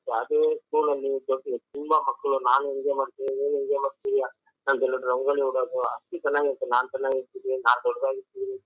ಯಾವದೇ ಸ್ಕೂಲ್ ಅಲ್ಲಿ ತುಂಬಾ ಮಕ್ಕಳು ನಾನ್ ಹಿಂಗೇ ಮಾಡ್ತೀನಿ ನಿನ್ ಹಿಂಗೇ ಮಾಡ್ತಿಯಾ ರಂಗೋಲಿ ಬಿಡೋದು